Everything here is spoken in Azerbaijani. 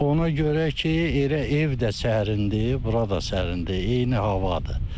Ona görə ki, elə ev də sərindir, bura da sərindir, eyni havadır.